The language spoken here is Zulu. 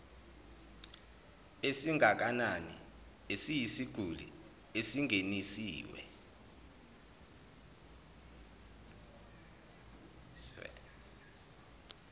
esingakanani eyisiguli esingeniswe